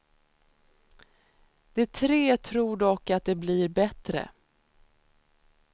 De tre tror dock att det blir bättre.